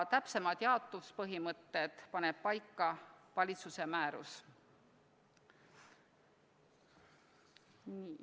Täpsemad jaotuspõhimõtted paneks paika valitsuse määrus.